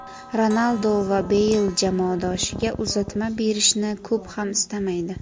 Ronaldu va Beyl jamoadoshiga uzatma berishni ko‘p ham istamaydi.